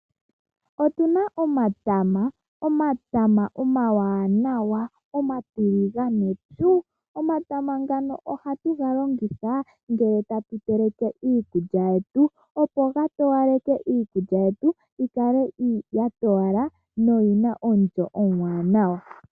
Otuna omatama, omatama omawanawa, omatiligane pyu. Omatama ngoka ohatu ga longitha ngele tatu teleke iikulya yetu, opo ga towaleke iikulya yetu, yi kale ya towala na oyina omulyo omuwanawa